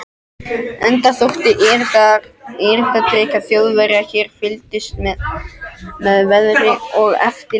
Enda þótt erindrekar Þjóðverja hér fylgdust með veðri og eftirlitsskipum